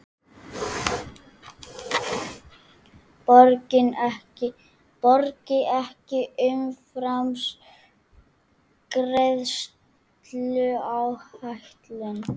Borgi ekki umfram greiðsluáætlun